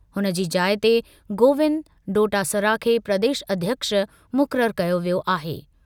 हुन जी जाइ ते गोविंद डोटासरा खे प्रदेश अध्यक्ष मुक़रर कयो वियो आहे।